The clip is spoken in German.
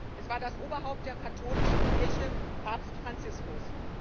Es war das Oberhaupt der Katholischen Kirche, Papst Franziskus.